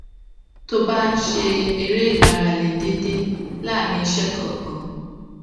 tó o bá ń ṣe eré ìmárale déédéé láàárín iṣé kòòkan